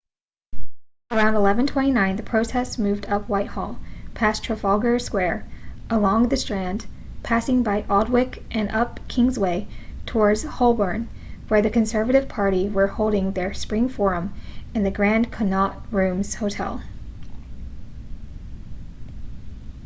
around 11:29 the protest moved up whitehall past trafalgar square along the strand passing by aldwych and up kingsway towards holborn where the conservative party were holding their spring forum in the grand connaught rooms hotel